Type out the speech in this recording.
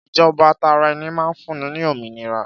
Ìjọba tara ẹni máa ń fúnni ní òmìnira.